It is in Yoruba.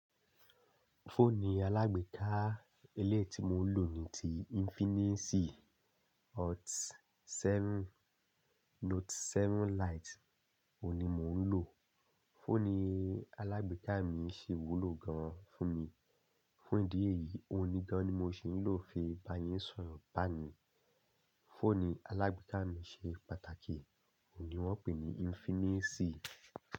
Fóònù alágbèéedá eléyìí tí mò ń lò ní ti Infinxi Hot 7 Note 7 Lite. Òhun ni mò ń lò. Fóònù alágbéeda mi ṣe wúlò gan fún mi. Fún ìdí èyí, ó ni kan ni mò ń ṣì ń lò fi bá yín sọ̀rọ̀ báyìí. Fóònù alágbèéká mi ṣe pàtàkì, óhun ni wọ́n pè ní Infinix.